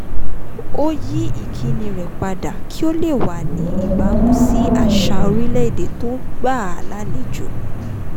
ó yí ìkíni rẹ̀ padà kí ó le wà ní ìbámu sí àṣà orílẹ̀-èdè tó gbàa lálejò